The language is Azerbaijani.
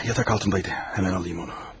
Ah, yataq altındaydı, həmən alım onu.